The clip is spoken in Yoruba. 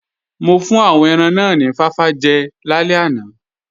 Mo fún àwọn ẹran náà ni fáfá jẹ lálẹ́ àná